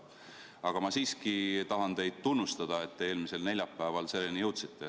Aga ma siiski tahan teid tunnustada, et te eelmisel neljapäeval selleni jõudsite.